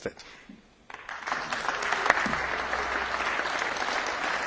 Vielen Dank, Herr Bundeskanzler Faymann, für Ihre Worte.